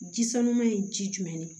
Ji sanuma ye ji jumɛn de